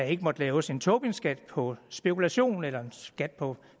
ikke måtte laves en tobinskat på spekulation eller skat på